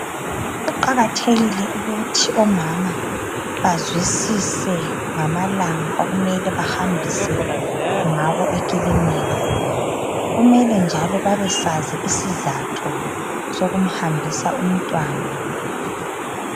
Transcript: Kuqakathekile ukuthi omama bazwisise ngamalanga okumele bahambise ngawo eklinika , kumele njalo babesazi isizatho sokumhambisa umntwana